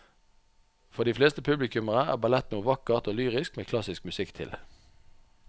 For de fleste publikummere er ballett noe vakkert og lyrisk med klassisk musikk til.